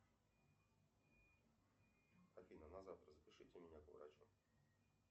афина на завтра запишите меня к врачу